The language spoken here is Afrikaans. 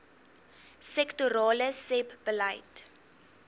sektorale sebbeleid